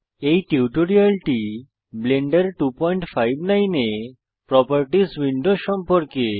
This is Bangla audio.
এই টিউটোরিয়ালটি ব্লেন্ডার 259 এ প্রোপার্টিস উইন্ডো সম্পর্কে